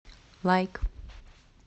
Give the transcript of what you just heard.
лайк